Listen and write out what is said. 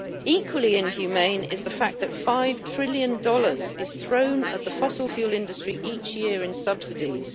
Equally inhumane is the fact that 5 trillion dollars is thrown at the fossil fuel industry each year in subsidies